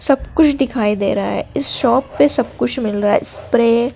सब कुछ दिखाई दे रहा हैं इस शॉप पे सब कुछ मिल रहा हैं स्प्रे --